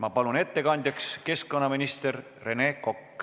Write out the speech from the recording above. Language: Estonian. Ma palun ettekandjaks keskkonnaminister Rene Koka!